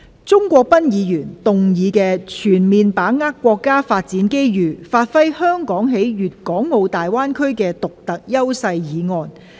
鍾國斌議員動議的"全面把握國家發展機遇，發揮香港在粵港澳大灣區的獨特優勢"議案。